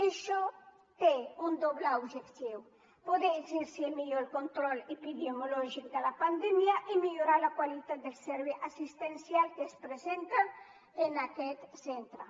això té un doble objectiu poder exercir millor el control epidemiològic de la pandèmia i millorar la qualitat del servei assistencial que es presta en aquests centres